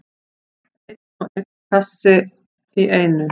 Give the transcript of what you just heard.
Einn og einn kassa í einu.